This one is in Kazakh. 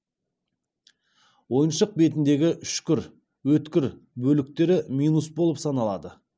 ойыншық бетіндегі үшкір өткір бөліктері минус болып саналады